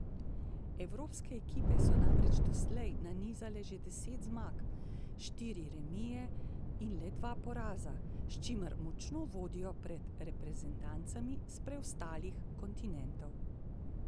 Evropske ekipe so namreč doslej nanizale že deset zmag, štiri remije in le dva poraza, s čimer močno vodijo pred reprezentancami s preostalih kontinentov.